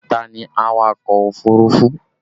Ta ni awakọ̀ òfurufú?